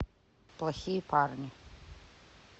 плохие парни